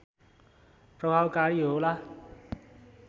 प्रभावकारी होला